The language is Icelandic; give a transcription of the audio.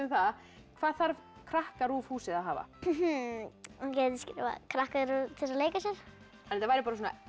það hvað þarf KrakkaRÚV húsið að hafa krakkaRÚV til að leika sér þetta væri